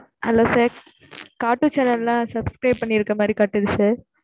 Hello sir, cartoon channel எல்லாம் subscribe பண்ணியிருக்க மாதிரி காட்டுது sir